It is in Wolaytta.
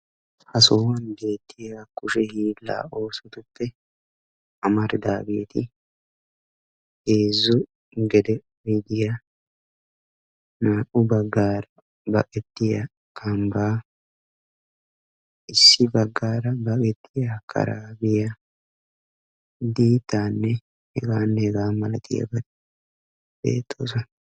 Ha sohuwan beettiya kushe hiillaa oosotuppe amaridaageeti heezzu gede oydiya, naa"u baggan baqettiya kambbaa, issi baggaara baqettiya karaabiya, diittaanne hegaanne hegaa malatiyabati beettoosona.